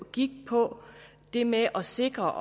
gik på det med at sikre